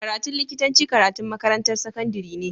Karatun likitanci karatun makarantar sakandari ne